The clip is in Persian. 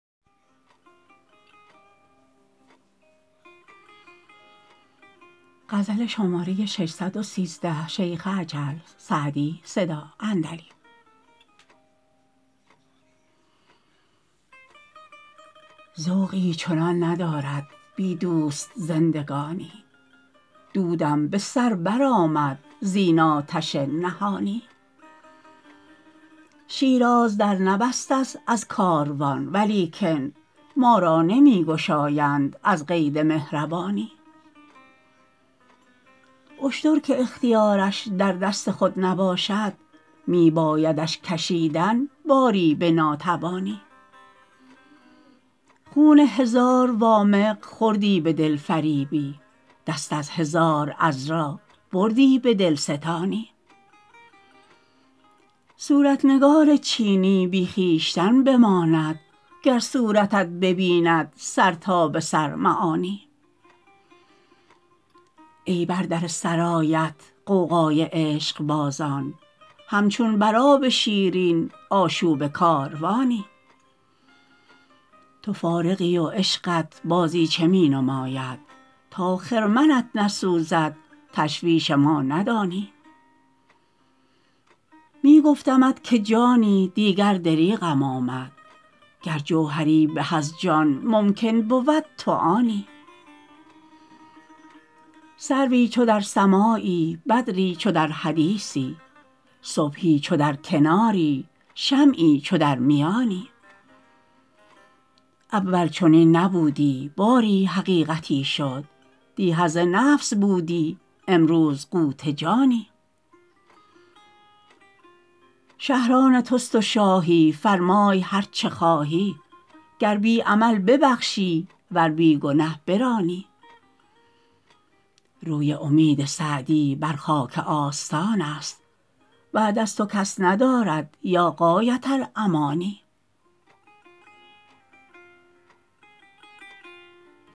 ذوقی چنان ندارد بی دوست زندگانی دودم به سر برآمد زین آتش نهانی شیراز در نبسته ست از کاروان ولیکن ما را نمی گشایند از قید مهربانی اشتر که اختیارش در دست خود نباشد می بایدش کشیدن باری به ناتوانی خون هزار وامق خوردی به دلفریبی دست از هزار عذرا بردی به دلستانی صورت نگار چینی بی خویشتن بماند گر صورتت ببیند سر تا به سر معانی ای بر در سرایت غوغای عشقبازان همچون بر آب شیرین آشوب کاروانی تو فارغی و عشقت بازیچه می نماید تا خرمنت نسوزد تشویش ما ندانی می گفتمت که جانی دیگر دریغم آید گر جوهری به از جان ممکن بود تو آنی سروی چو در سماعی بدری چو در حدیثی صبحی چو در کناری شمعی چو در میانی اول چنین نبودی باری حقیقتی شد دی حظ نفس بودی امروز قوت جانی شهر آن توست و شاهی فرمای هر چه خواهی گر بی عمل ببخشی ور بی گنه برانی روی امید سعدی بر خاک آستان است بعد از تو کس ندارد یا غایة الامانی